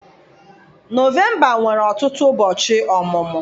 Nọvemba nwere ọtụtụ ụbọchị ọmụmụ.